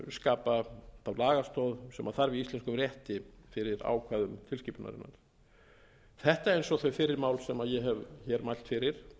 skapa þá lagastoð sem þarf í íslenskum rétti fyrir ákvæðum tilskipunarinnar þetta eins og þau fyrri mál sem ég hef mælt fyrir